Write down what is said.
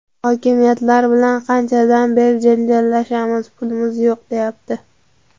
Hokimiyatlar bilan qanchadan beri janjallashamiz, "pulimiz yo‘q", deyapti.